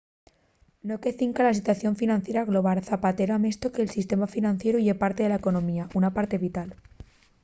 no que cinca a la situación financiera global zapatero amestó que el sistema financieru ye parte de la economía una parte vital